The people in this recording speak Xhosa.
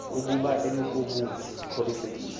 ukuba imekobume ikhuselekile